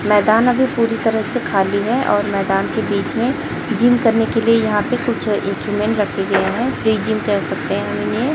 मैदान अभी पूरी तरह से खाली है और मैदान के बीच में जिम करने के लिए यहां पे कुछ इंस्ट्रूमेंट रखे गए है फ्री जिम कर सकते हैं।